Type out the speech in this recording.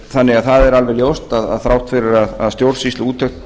þannig að það er alveg ljóst þrátt fyrir að stjórnsýsluúttektum